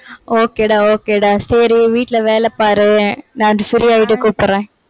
okay டா, okay டா. சரி வீட்டுல வேலை பாரு. நான் free ஆயிட்டு கூப்பிடுறேன்.